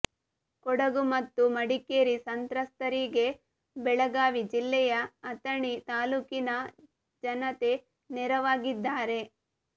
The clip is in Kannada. ಕೊಡಗು ಮತ್ತು ಮಡಿಕೇರಿ ಸಂತ್ರಸ್ತರಿಗೆ ಬೆಳಗಾವಿ ಜಿಲ್ಲೆಯ ಅಥಣಿ ತಾಲೂಕಿನ ಜನತೆ ನೆರವಾಗಿದ್ದಾರೆ